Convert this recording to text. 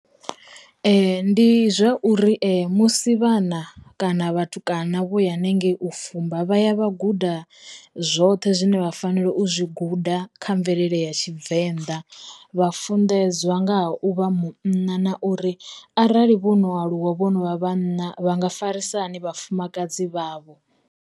Ndi zwa uri musi vhana kana vhatukana vho ya hanengei u fumba, vha ya vha guda zwoṱhe zwine vha fanela u zwi guda kha mvelele ya Tshivenḓa, vha funḓedziwa nga ha u vha munna na uri arali vho no aluwa, vhonovha vhana vha nga farisa hani vha fumakadzi vhavho.